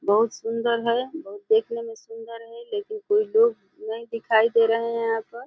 बहोत सुंदर है। बहोत देखने में सुंदर है लेकिन कुछ लोग नहीं दिखाई दे रहे हैं यहाँ पर।